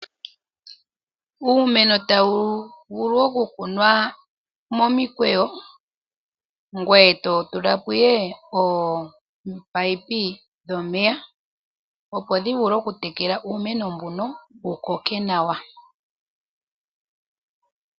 Uumeno ota wu vulu oku kunwa momikweyo, ngoye to tulako ihe ominino dhomeya, opo dhi vule oku tekela uumeno mbuno wu koke nawa.